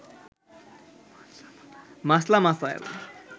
মাসলা মাসায়েল